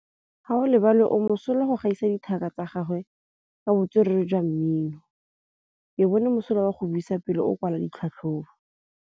Gaolebalwe o mosola go gaisa dithaka tsa gagwe ka botswerere jwa mmino. Ke bone mosola wa go buisa pele o kwala tlhatlhobô.